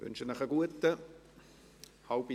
Ich wünsche Ihnen einen guten Appetit.